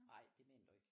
Ej det mener du ikke